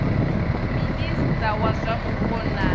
minista wa zwa mupo na